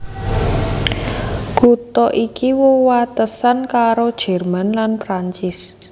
Kutha iki wewatesan karo Jerman lan Prancis